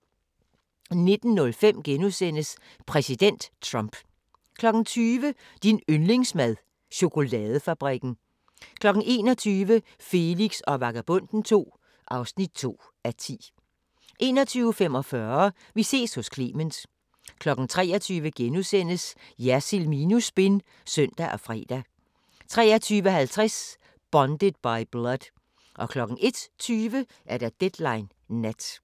19:05: Præsident Trump * 20:00: Din yndlingsmad: Chokoladefabrikken 21:00: Felix og Vagabonden II (2:10) 21:45: Vi ses hos Clement 23:00: Jersild minus spin *(søn og fre) 23:50: Bonded by Blood 01:20: Deadline Nat